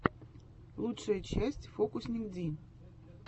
лучшая часть фокусникди